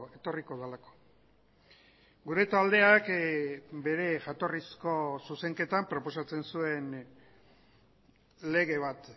etorriko delako gure taldeak bere jatorrizko zuzenketan proposatzen zuen lege bat